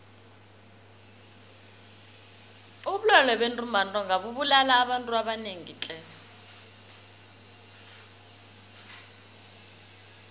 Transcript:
ubulwele bentumbantonga bubulala abantu abanengi tle